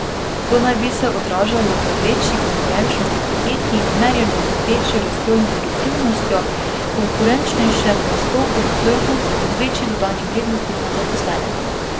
To naj bi se odražalo v večji konkurenčnosti podjetij, merjeno z večjo rastjo in produktivnostjo, konkurenčnejšem nastopu na trgu in večji dodani vrednosti na zaposlenega.